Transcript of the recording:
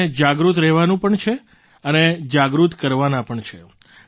આપણે જાગૃત રહેવાનું પણ છે અને જાગૃત કરવાના પણ છે